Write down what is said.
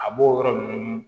A b'o yɔrɔ ninnu